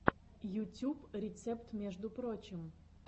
ютюб рецепт между прочим